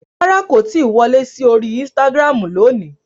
Rárá, kò tí ì wọlé sí orí Instagram lónìí